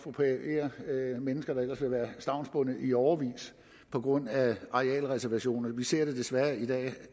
er mennesker der er stavnsbundet i årevis på grund af arealreservationer vi ser desværre i dag at det